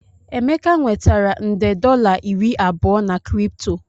Emeka nwetara nde dollar iri abụọ na Kripto